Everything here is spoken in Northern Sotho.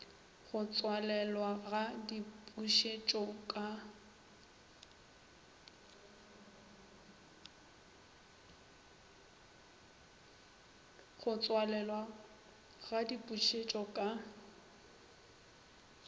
go tswalelwa ga dipušetšo ka